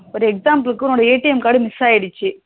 ஒரு example க்கு உன் ATM card miss ஆகிடுச்சு